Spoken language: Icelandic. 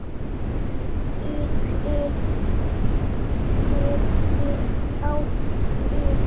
Ríki getur átt við